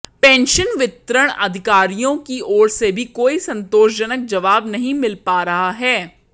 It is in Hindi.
पेंशन वितरण अधिकारियों की ओर से भी कोई संतोषजनक जवाब नहीं मिल पा रहा है